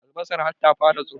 Albasar har ta fara tsiro